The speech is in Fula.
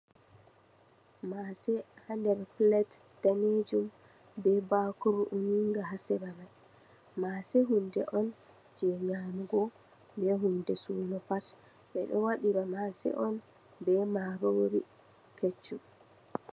Mase ha nder pilet danejum be bakuru uni nga ha seramai. Mase hunde on je nyamugo, be hunde suno pat. Ɓeɗo wadira mase on be marori keccum.